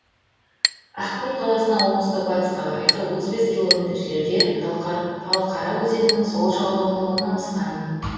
ақкөл қаласынан оңтүстік батысқа қарай отыз бес километр жерде талқара өзенінің сол жағалауында орналасқан